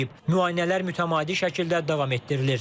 Müayinələr mütəmadi şəkildə davam etdirilir.